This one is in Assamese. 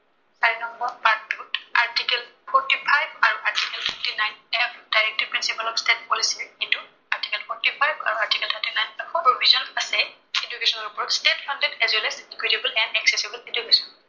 চাৰি নম্বৰ part টোত article forty five আৰু article fifty nine as directive principal of state policy এইটো article forty five আৰু article forty nine ত এটা provision আছে education ৰ ওপৰত state funded as well as valuable and accessible education